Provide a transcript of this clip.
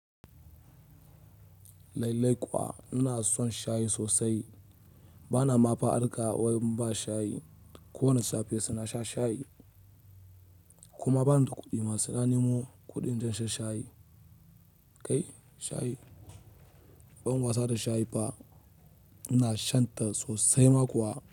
Lallai kwa ina son shayi sosai. Bana mafa harka wai in ba shayi. Kowanne safe saina sha shayi. Kuma bani da kuɗi ma saina nemo kuɗin da zan sha shayi. Kai shayi, ban wasa da shayi fah. Ina shan ta sosai ma kuwa.